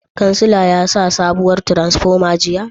Kancila ya sa sabuwar tiransifoma jiya?